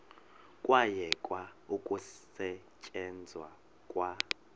kwayekwa ukusetyenzwa kwa